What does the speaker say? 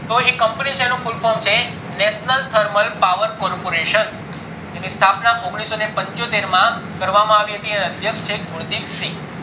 તો એ company છે એનું full form છે national thermal power corporation એની સ્થાપના ઓગણીસો ને પંચોતેર માં કરવામાં આવી હતી એના અધ્યક્ષ છે ગુરુદેવ સિંગ